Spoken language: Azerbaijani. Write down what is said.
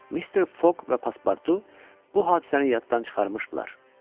Mister Foq və Paspartu bu hadisəni yaddan çıxarmışdılar.